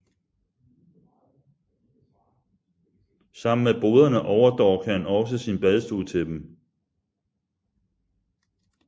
Sammen med boderne overdorg han også sin badstue til dem